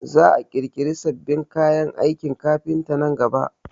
Za a ƙirƙiri sabbin kayan aikin kafinta nan gaba